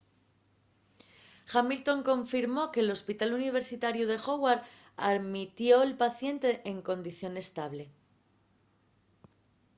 hamilton confirmó que l’hospital universitariu de howard almitió’l paciente en condición estable